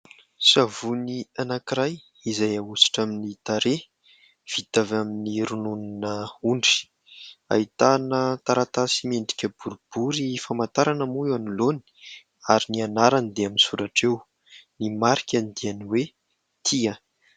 Savony anankiray : izay ahosotra amin'ny tarehy, vita avy amin'ny rononon' ondry, ahitana taratasy miendrika boribory famantarana moa eo anoloany ary ny anarany dia misoratra eo, ny marikany dia ny hoe : "Tia".